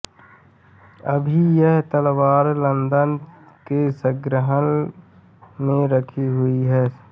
अभी यह तलवार लंदन के संग्रहालय में रखी हुई है